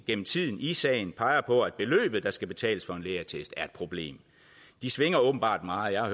igennem tiden i sagen peger på at det beløb der skal betales for en lægeattest er et problem det svinger åbenbart meget jeg har